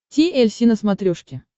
ти эль си на смотрешке